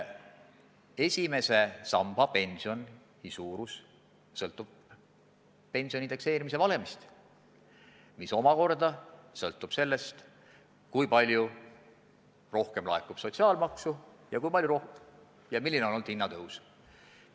Esimese samba pensioni suurus sõltub pensioni indekseerimise valemist, mis omakorda sõltub sellest, kui palju laekub sotsiaalmaksu ja kui suur on olnud hinnatõus.